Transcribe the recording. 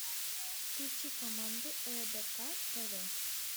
включи команду рбк тв